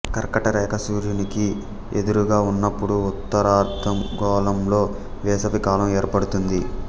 కర్కట రేఖ సూర్యునికి ఎదురుగా ఉన్నపుడు ఉత్తరార్థగోళంలో వేసవి కాలం ఏర్పడుతుంది